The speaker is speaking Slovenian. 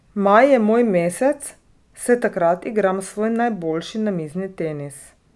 Maj je moj mesec, saj takrat igram svoj najboljši namizni tenis.